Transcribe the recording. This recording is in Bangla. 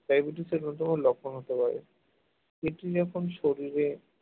diabetes এর অন্য কোন লক্ষণ হতে পারে এটি যখন শরীরে